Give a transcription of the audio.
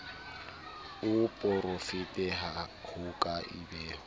a porafete ho ka ipehwa